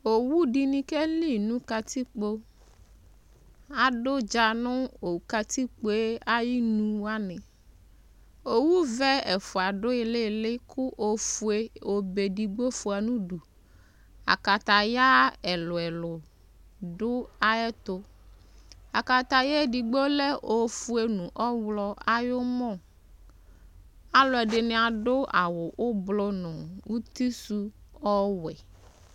Owu dɩnɩ keki nʋ katikpo Adʋ ʋdza nʋ katikpo yɛ ayɩnu wanɩ Owuvɛ ɛfʋa dʋ ɩɩlɩ-ɩɩlɩ kʋ ofue obe edigbo fʋa nʋ udu Akataya ɛlʋ-ɛlʋ dʋ ayɛtʋ Akataya edigbo lɛ ofue nʋ ɔɣlɔ ayʋ ʋmɔ Alʋɛdɩnɩ adʋ avʋ ʋblɔ nʋ utisʋ ɔwɛ